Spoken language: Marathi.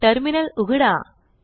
टर्मिनल उघडा